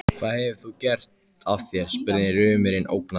Hvað hefur þú gert af þér? spurði rumurinn ógnandi.